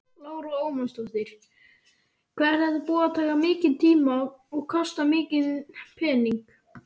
Lára Ómarsdóttir: Hvað er þetta búið að taka mikinn tíma og kosta mikinn pening?